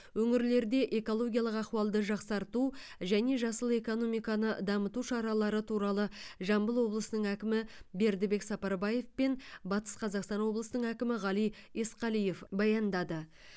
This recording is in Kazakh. өңірлерде экологиялық ахуалды жақсарту және жасыл экономиканы дамыту шаралары туралы жамбыл облысының әкімі бердібек сапарбаев пен батыс қазақстан облысының әкімі ғали есқалиев баяндады